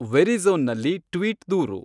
Verizon ನಲ್ಲಿ tweet ದೂರು